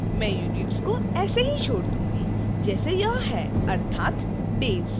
मैं unit को ऐसे ही छोड़ दूंगी जैसे यह है अर्थात days